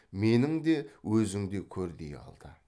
менің де өзіңдей көр дей алды